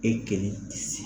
E kelen tɛ se.